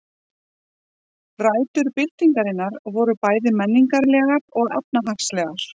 Rætur byltingarinnar voru bæði menningarlegar og efnahagslegar.